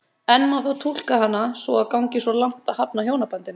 En má þá túlka hana svo að hún gangi svo langt að hafna hjónabandinu?